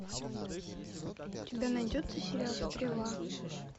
у тебя найдется сериал стрела